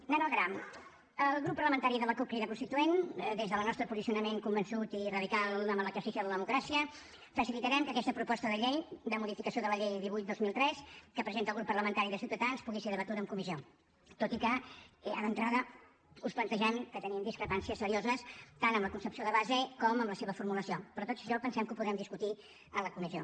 anant al gra el grup parlamentari de la cup crida constituent des del nostre posicionament convençut i radical en l’exercici de la democràcia facilitarem que aquesta proposta de llei de modificació de la llei divuit dos mil tres que presenta el grup parlamentari de ciutadans pugui ser debatuda en comissió tot i que ja d’entrada us plantegem que tenim discrepàncies serioses tant amb la concepció de base com amb la seva formulació però tot això pensem que ho podrem discutir en la comissió